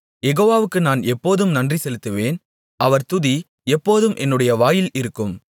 யெகோவாவுக்கு நான் எப்போதும் நன்றி செலுத்துவேன் அவர் துதி எப்போதும் என்னுடைய வாயில் இருக்கும்